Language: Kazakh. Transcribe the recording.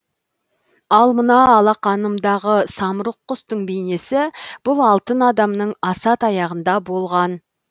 ал мына алақанымдағы самұрық құстың бейнесі бұл алтын адамның аса таяғында болған